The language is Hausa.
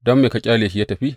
Don me ka ƙyale shi yă tafi?